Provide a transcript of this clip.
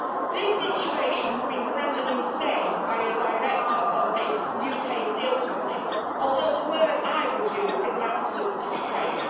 This situation has been branded insane by a director of a UK steel company although the words I would use are an absolute disgrace'.